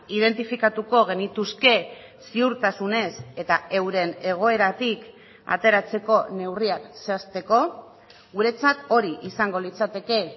identifikatuko genituzke ziurtasunez eta euren egoeratik ateratzeko neurriak zehazteko guretzat hori izango litzateke